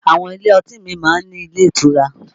Àwọn ilé ọtí míì máa ń ní ilé ìtura